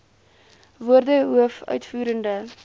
woorde hoof uitvoerende